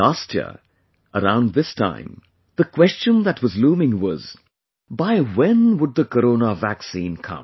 Last year, around this time, the question that was looming was...by when would the corona vaccine come